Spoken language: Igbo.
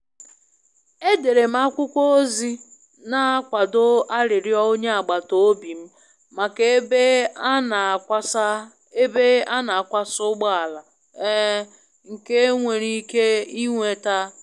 Edere m akwụkwọ ozi n'akwado arịrịọ onye agbata obi m maka ebe a n'akwasa ebe a n'akwasa ụgbọala um nke e nwere ike ịnweta.